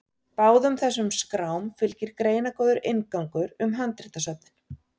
Báðum þessum skrám fylgir greinargóður inngangur um handritasöfnin.